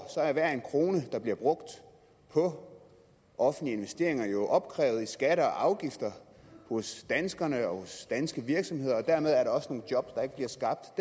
er hver en krone der bliver brugt på offentlige investeringer jo opkrævet i skatter og afgifter hos danskerne og hos de danske virksomheder og dermed er der også derude nogle job der ikke bliver skabt